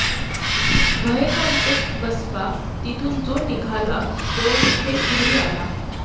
भयकंपित बसप्पा तिथून जो निघाला तो थेट घरी आला